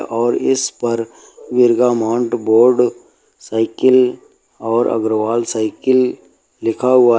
और इस पर बिरगा माउंट बोर्ड साइकिल और अग्रवाल साइकिल लिखा हुआ है।